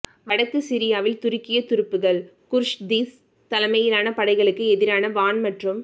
வடக்கு சிரியாவில் துருக்கிய துருப்புக்கள் குர்திஷ் தலைமையிலான படைகளுக்கு எதிராக வான் மற்றும்